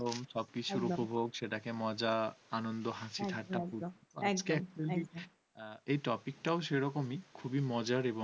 এই topic সে রকমই খুবই মজার এবং